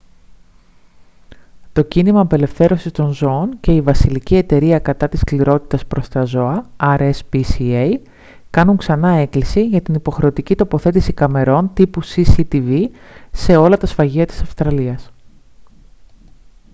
το κίνημα απελευθέρωσης των ζώων και η βασιλική εταιρεία κατά της σκληρότητας προς τα ζώα rspca κάνουν ξανά έκκληση για την υποχρεωτική τοποθέτηση καμερών τύπου cctv σε όλα τα σφαγεία της αυστραλίας